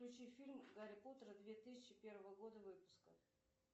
включи фильм гарри поттер две тысячи первого года выпуска